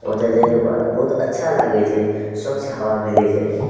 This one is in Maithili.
ओजा जाय के बाद बहुत अच्छा लागे छे स्वच्छ हवा मिले छय।